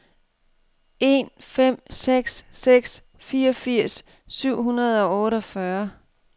en fem seks seks fireogfirs syv hundrede og otteogfyrre